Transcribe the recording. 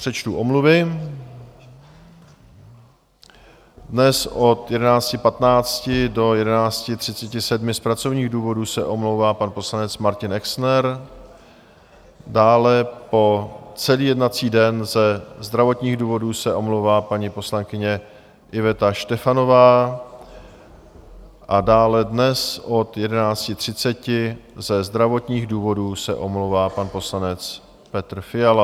Přečtu omluvy: dnes od 11.15 do 11.37 z pracovních důvodů se omlouvá pan poslanec Martin Exner, dále po celý jednací den ze zdravotních důvodů se omlouvá paní poslankyně Iveta Štefanová a dále dnes od 11.30 ze zdravotních důvodů se omlouvá pan poslanec Petr Fiala.